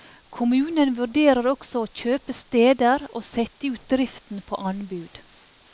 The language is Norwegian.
Kommunen vurderer også å kjøpe steder og sette ut driften på anbud.